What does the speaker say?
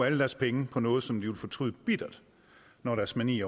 alle deres penge på noget som de vil fortryde bittert når deres mani